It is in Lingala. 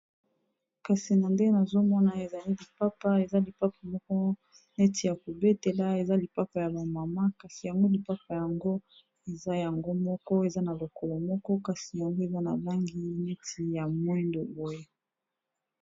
kasi na nde nazomona ezali lipapa eza lipapa moko neti ya kobetela eza lipapa ya bamama kasi yango lipapa yango eza yango moko eza na lokolo moko kasi yango eza na langi neti ya moindo boya